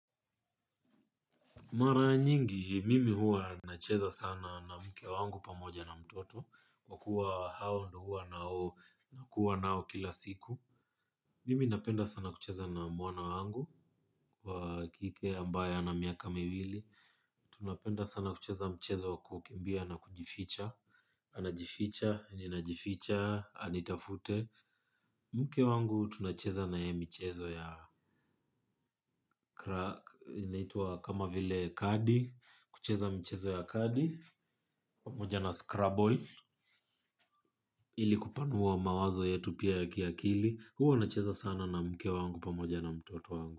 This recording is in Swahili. Mara nyingi mimi hua nacheza sana na mke wangu pamoja na mtoto wa kuwa hao ndo hua nao na kuwa nao kila siku. Mimi napenda sana kucheza na mwana wangu wa kike ambaye anamiaka miwili. Tunapenda sana kucheza mchezo wa kukimbia na kujificha anajificha, ninajificha, anitafute. Mke wangu tunacheza na ye mchezo ya krak. Inaitua kama vile kadi. Kucheza mchezo ya kadi pamoja na scrubble ilikupanua mawazo yetu pia ya kiakili huwa nacheza sana na mke wangu pamoja na mtoto wangu.